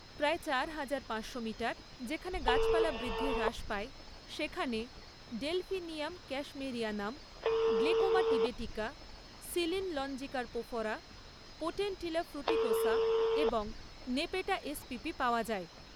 প্রায় চার হাজার পাঁচশো মিটার, যেখানে গাছপালা বৃদ্ধি হ্রাস পায়, সেখানে Delphinium cashmerianum, Glechoma tibetica, Silene longicarpophora, Potentilla fruticosa এবং নেপেটা এসপিপি পাওয়া যায়।